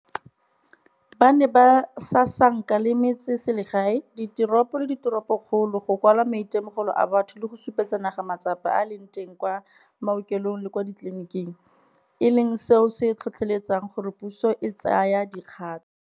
Ba ne ba sasanka le metseselegae, diteropo le diteropokgolo, go kwala maitemogelo a batho le go supetsa naga matsapa a a leng teng kwa maokelong le kwa ditleliniking, e leng seo se tlhotlheletsang gore puso e tsaye dikgato.